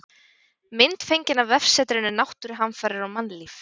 Mynd fengin af vefsetrinu Náttúruhamfarir og mannlíf.